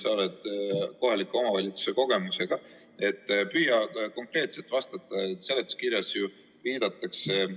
Tänane 13. päevakorrapunkt on Vabariigi Valitsuse algatatud toote nõuetele vastavuse seaduse muutmise ning sellega seonduvalt teiste seaduste muutmise seaduse eelnõu 372 esimene lugemine.